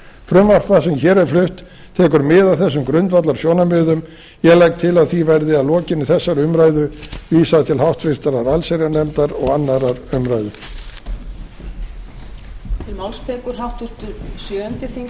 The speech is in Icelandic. frumvarp það sem hér er flutt tekur mið af þessum grundvallarsjónarmiðum ég legg til að því verði að lokinni þessari umræðu vísað til háttvirtrar allsherjarnefndar og annarrar umræðu